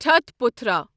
ٹھٹہٕ پتھرا